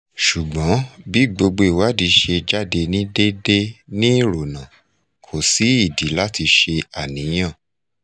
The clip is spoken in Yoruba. sugbon bi gbogbo iwadi se jade ni dede nirona ko si idi lati se aniyan